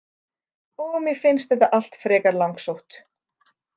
Og mér finnst þetta allt frekar langsótt.